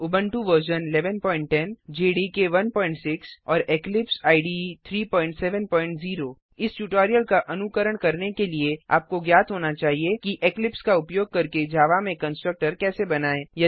Ubuntu version 1110 Java development environment JDK 16 और Eclipse IDE 370 इस tutorial का अनुकरण करने के लिए आपको ज्ञात होना चाहिए कि इक्लिप्स का उपयोग करके जावा में कंस्ट्रक्टर कैसे बनाएँ